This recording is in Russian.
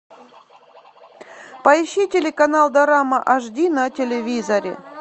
поищи телеканал дорама ашди на телевизоре